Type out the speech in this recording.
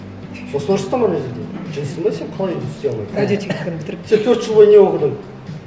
сосын ұрыстым ана жерде жындысың ба сен қалай істей алмайсың радиотехниканы бітіріп сен төрт жыл бойы не оқыдың